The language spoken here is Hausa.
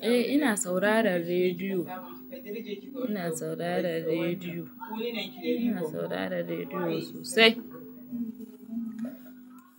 Eh ina saurara rediyo, ina saurara rediyo, ina saurara rediyo sosai.